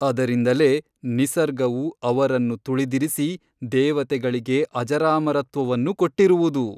ಅದರಿಂದಲೇ ನಿಸರ್ಗವು ಅವರನ್ನು ತುಳಿದಿರಿಸಿ ದೇವತೆಗಳಿಗೆ ಅಜರಾಮರತ್ವವನ್ನು ಕೊಟ್ಟಿರುವುದು.